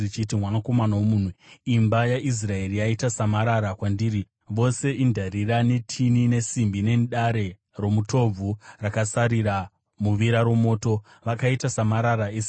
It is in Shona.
“Mwanakomana womunhu, imba yaIsraeri yaita samarara kwandiri; vose indarira, netini, nesimbi nedare romutobvu rakasarira muvira romoto. Vakaita samarara esirivha.